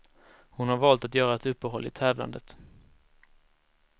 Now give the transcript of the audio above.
Hon har valt att göra ett uppehåll i tävlandet.